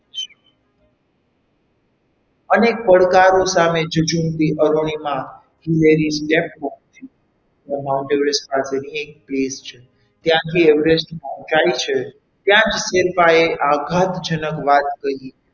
અનેક પડકારો સામે જજુમતી અરુણિમા Mount Everest પાસેની એક place છે ત્યાંથી Everest પહોચાય છે ત્યાં જ શેરપાએ આઘાતજનક વાત કહી.